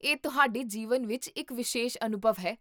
ਇਹ ਤੁਹਾਡੇ ਜੀਵਨ ਵਿੱਚ ਇੱਕ ਵਿਸ਼ੇਸ਼ ਅਨੁਭਵ ਹੈ